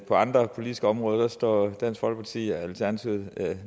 andre politiske områder står dansk folkeparti og alternativet